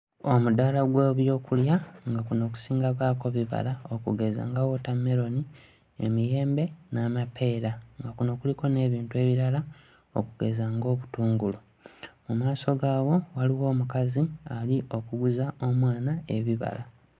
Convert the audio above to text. Omudaala gw'ebyokulya nga kuno kusinga baako bibala okugeza nga wootammeroni, emiyembe n'amapeera, nga kuno kuliko n'ebintu ebirala okugeza ng'obutungulu. Mu maaso gaawo waliwo omukazi ali okuguza omwana ebibala.